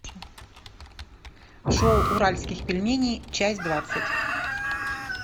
шоу уральских пельменей часть двадцать